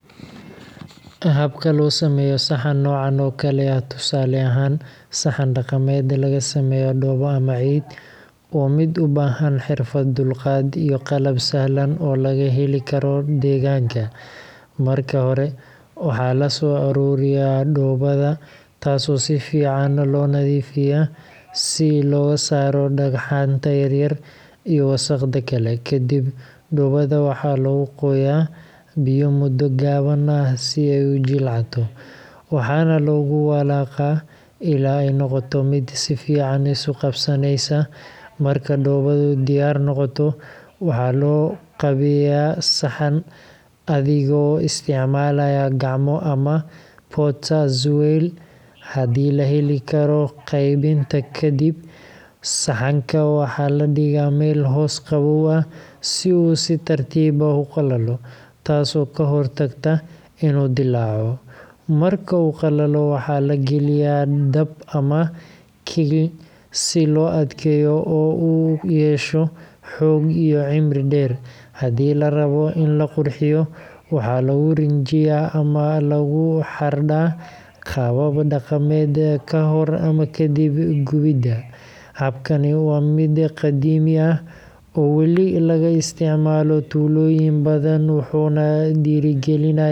Habka loo sameeyo saxan noocan oo kale ah tusaale ahaan saxan dhaqameed laga sameeyo dhoobo ama ciid waa mid u baahan xirfad, dulqaad, iyo qalab sahlan oo laga heli karo deegaanka. Marka hore, waxaa la soo ururiyaa dhoobada, taasoo si fiican loo nadiifiyaa si looga saaro dhagxaanta yaryar iyo wasakhda kale. Kadib, dhoobada waxaa lagu qooyaa biyo muddo gaaban ah si ay u jilcato, waxaana lagu walaaqaa ilaa ay noqoto mid si fiican isu qabsanaysa. Marka dhoobadu diyaar noqoto, waxaa loo qaabeeyaa saxan adigoo isticmaalaya gacmo ama potter's wheel haddii la heli karo. Qaabaynta ka dib, saxanka waxaa la dhigaa meel hoos qabow ah si uu si tartiib ah u qalalo, taasoo ka hortagta inuu dillaaco. Marka uu qalalo, waxaa la geliyaa dab ama kiln si loo adkeeyo oo uu u yeesho xoog iyo cimri dheer. Haddii la rabo in la qurxiyo, waxaa lagu rinjiyaa ama lagu xardhaa qaabab dhaqameed ka hor ama ka dib gubidda. Habkani waa mid qadiimi ah oo wali laga isticmaalo tuulooyin badan, wuxuuna dhiirrigelinayaa.